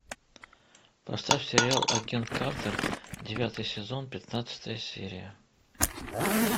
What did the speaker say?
поставь сериал агент картер девятый сезон пятнадцатая серия